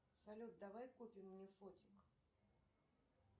салют давай купим мне фотик